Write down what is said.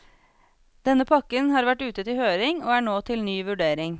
Denne pakken har vært ute til høring og er nå til ny vurdering.